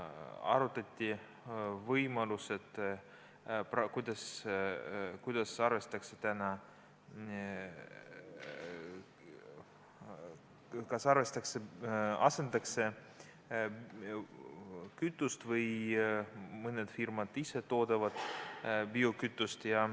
Arutati võimalust, et kas kütust hakatakse asendama või toodavad mõned firmad ise biokütust.